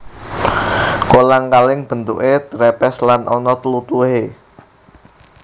Kolang kaling bentuké trepes lan ana tlutuhe